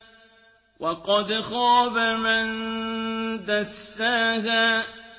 وَقَدْ خَابَ مَن دَسَّاهَا